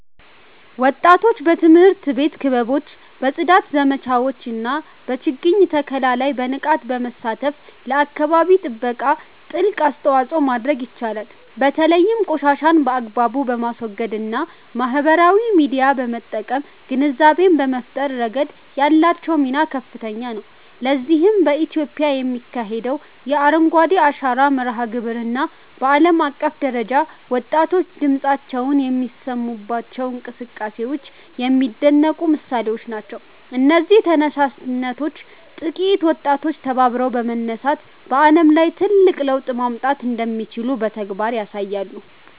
ወጣቶች በትምህርት ቤት ክበቦች፣ በጽዳት ዘመቻዎች እና በችግኝ ተከላ ላይ በንቃት በመሳተፍ ለአካባቢ ጥበቃ ትልቅ አስተዋጽኦ ማድረግ ይችላሉ። በተለይም ቆሻሻን በአግባቡ በማስወገድ እና ማህበራዊ ሚዲያን በመጠቀም ግንዛቤ በመፍጠር ረገድ ያላቸው ሚና ከፍተኛ ነው። ለዚህም በኢትዮጵያ የሚካሄደው የ"አረንጓዴ አሻራ" መርሃ ግብር እና በዓለም አቀፍ ደረጃ ወጣቶች ድምፃቸውን የሚያሰሙባቸው እንቅስቃሴዎች የሚደነቁ ምሳሌዎች ናቸው። እነዚህ ተነሳሽነቶች ጥቂት ወጣቶች ተባብረው በመነሳት በዓለም ላይ ትልቅ ለውጥ ማምጣት እንደሚችሉ በተግባር ያሳያሉ